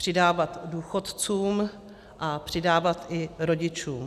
Přidávat důchodcům a přidávat i rodičům.